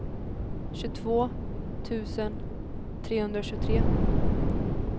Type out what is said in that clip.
tjugotvå tusen trehundratjugotre